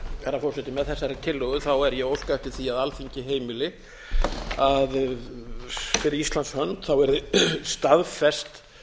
herra forseti með þessari tillögu er ég að óska eftir því að alþingi heimili að fyrir íslands hönd verði staðfest